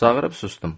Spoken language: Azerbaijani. Çağırıb susdum.